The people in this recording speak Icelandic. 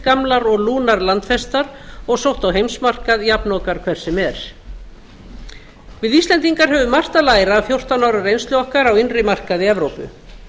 gamlar og lúnar landfestar og sótt á heimsmarkað jafnokar hvers sem er við íslendingar höfum margt að læra af fjórtán ára reynslu okkar á innri markaði evrópu